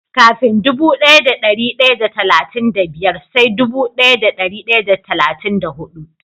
Kafin dubu daya da dari daya da talatin da biyar sai dubu daya da dari daya da talatin da hudu.